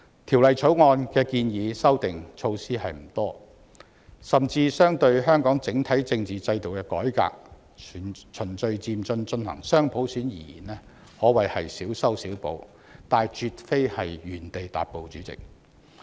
《條例草案》建議的修訂措施不多，甚至相對於香港整體政治制度的改革，即循序漸進進行雙普選而言，可謂小修小補，但絕非原地踏步。